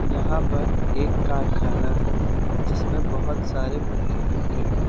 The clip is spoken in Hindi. यहां पर एक कारखाना है जिसमें बहोत सारे पंखे लटके हुए।